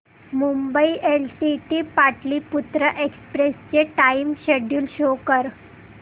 Mumbai LTT Pataliputra express चे time schedule show कर